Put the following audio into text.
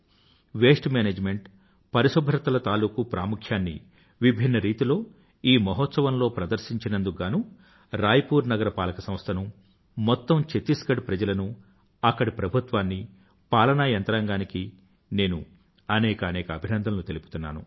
waste management పరిశుభ్రతల తాలూకూ ప్రాముఖ్యాన్ని విభిన్న రీతిలో ఈ మహోత్సవంలో ప్రదర్శించినందుకు గానూ రాయపూర్ నగరపాలక సంస్థనూ మొత్తం చత్తిస్ గడ్ ప్రజలనూ అక్కడి ప్రభుత్వాన్నీ పాలనా యంత్రాంగానికి నేను అనేకానేక ఆభినందనలు తెలుపుతున్నాను